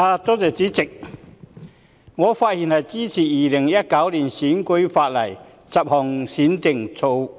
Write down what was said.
主席，我發言支持《2019年選舉法例條例草案》。